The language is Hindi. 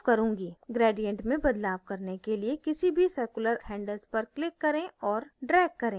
gradient में बदलाव करने किए किसी भी circular handles पर click करें और drag करें